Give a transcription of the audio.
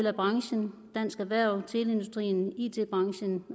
af branchen dansk erhverv teleindustrien it branchen